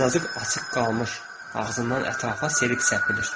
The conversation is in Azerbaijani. Azacıq açıq qalmış ağzından ətrafa selik səpilir.